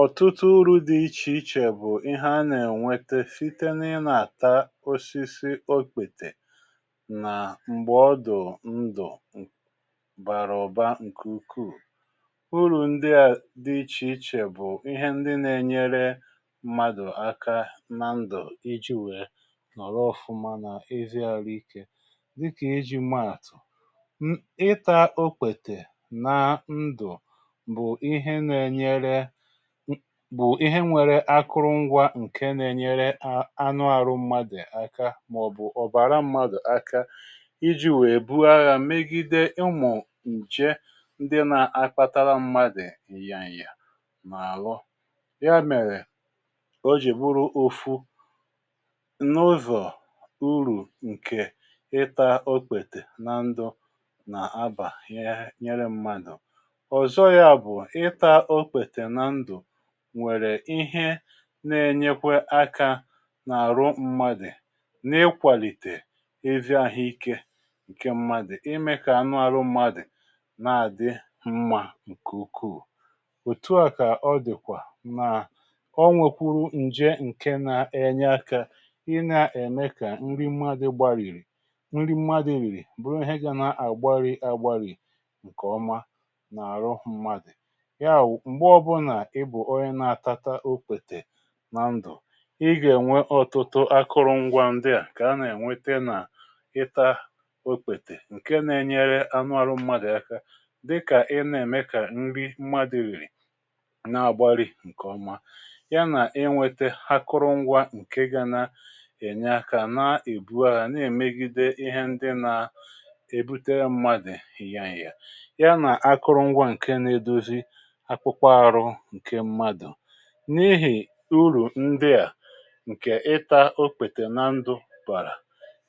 Ọtụtụ uru̇ dị ichè ichè bụ̀ ihe a nà-ènwete site n’ịnȧ àta osisi okpètè nà m̀gbè ọdụ̀ ndụ̀ bàrà ụ̀ba ǹke ukwuù. Urù ndị à dị ichè ichè bụ̀ ihe ndị nà-enyere mmadụ̀ aka na ndụ̀ iji wèe nọ̀rọ ọ̀fụma n’ezi arụ̇ ike dịkà iji̇ maàtụ̀ ṁ: ịtȧ okpètè na ndụ̀ bụ̀ ihe na enyere, bụ ihe nwėrė akụrụ ngwȧ ǹke na-ènyeere anụ arụ̇ m̀madụ̀ aka màọ̀bụ̀ ọ̀bàra m̀madụ̀ aka iji̇ nwèe bụo agha megide ụmụ nje ndị na-akpatara m̀madụ̀ ǹya ǹya na alụ, ya mèrè o jì buru ofu n’ụzọ̀ uru ǹkè ịta okpète na ndụ nà abà ya nyere m̀madụ̀. Ọzọ ya bụ, ịta okpete na ndu nwèrè ihe na-enyekwa akȧ n’àrụ mmadụ̀ n’ịkwàlìtè ezi ȧhụ̇ ike ǹke mmadụ̀ imė kà anụ àrụ mmadụ̀ na-àdị mmȧ ǹkè ukwuù. Otu à kà ọ dị̀kwà nà onwèkwuru ǹje ǹke na-enye akȧ ị nȧ-ème kà nri mmadụ̇ gbarìrì nri mmadụ̀ rìrì bụ̀rụ ihe gȧ nà àgbarì agbarì ǹkè ọma nà-àrụ mmadụ̀, yawụ, mgbe ọbụla ịbụ onye na-atata okpètè na ndụ̀ ị gà-ènwe ọtụtụ akụrụngwȧ ndị à kà a na-ènwete nà ịtȧ okpètè ǹke na-ènyere anụ arụ mmadụ̀ aka dịkà ị na-ème kà nri mmadụ̀ rìrì na-àgbarị̀ ǹkèọma ya nà ị nwete akụrụngwȧ ǹke ga na-ènye akȧ nà-èbuaghȧ na-èmegide ihe ndị nà-èbutere mmadụ̀ nya nya ya nà akụrụngwȧ ǹke na-edozi akpụkpọ arụ nke mmadụ. N’ihì urù ndị à, ǹkè ị ta okpètè na ndụ̀ bàrà,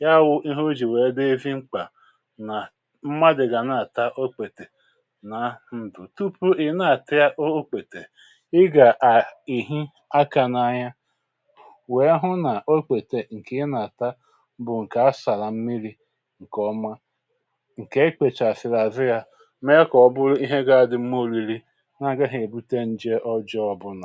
ya wụ̇ ihe o jì wèe dị ezi mkpà nà mmadụ̀ gà na-àta okpètè na ndụ̀ tupu ị̀ na-àtịa okpètè, ị gà-ehị akȧ n’anya wèe hụ nà okpètè ǹkè ị nà-àta bụ̀ ǹkè a sàrà mmiri̇ ǹkè ọma, ǹkè ekpèchàsị̀rị̀ azụ ya, mee ka oburụ ihe ga adị mma oriri na agaghị ebute nje ọjọọ ọbụna.